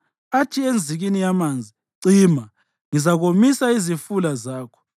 athi enzikini yamanzi, ‘Cima, ngizakomisa izifula zakho,’